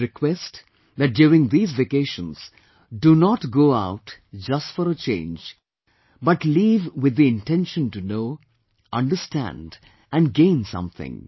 I would request that during these vacations do not go out just for a change but leave with the intention to know, understand & gain something